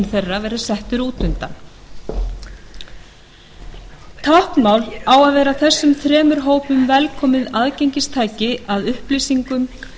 þeirra vera settur út undan táknmál á að vera þessum þremur hópum sjálfsagt aðgengistæki að upplýsingum